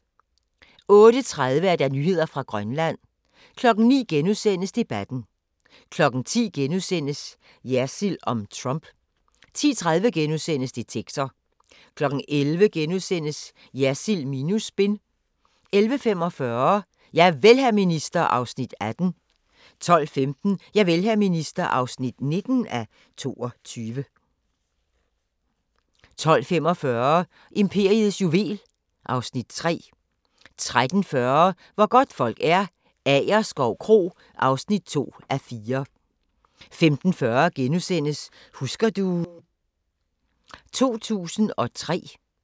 08:30: Nyheder fra Grønland 09:00: Debatten * 10:00: Jersild om Trump * 10:30: Detektor * 11:00: Jersild minus spin * 11:45: Javel, hr. minister (18:22) 12:15: Javel, hr. minister (19:22) 12:45: Imperiets juvel (Afs. 3) 13:40: Hvor godtfolk er - Agerskov Kro (2:4) 15:40: Husker du ... 2003 *